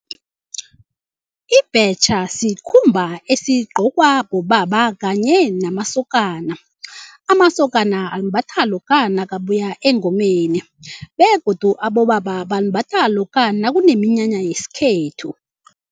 Ibhetjha sikhumba esigcokwa bobaba kanye namasokana. Amasokana alimbatha lokha nakabuya engomeni begodu abobaba balimbatha lokha nakuneminyanya yesikhethu.